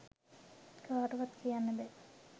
කාටවත් කියන්න බැහැ.